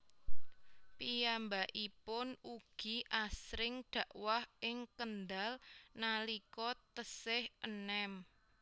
Piyambakipun ugi asring dakwah ing Kendal nalika tesih enem